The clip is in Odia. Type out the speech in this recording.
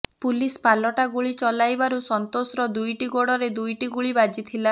ପୁଲିସ ପାଲଟା ଗୁଳି ଚଳାଇବାରୁ ସନ୍ତୋଷର ଦୁଇଟି ଗୋଡ଼ରେ ଦୁଇଟି ଗୁଳି ବାଜିଥିଲା